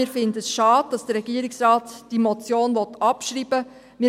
Wir finden es schade, dass der Regierungsrat diese Motion abschreiben will.